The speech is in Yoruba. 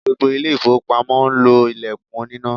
Gbogbo ilé-ifowopamo ń lo ilẹkun oníná.